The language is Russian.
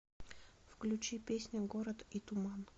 включи песня город и туман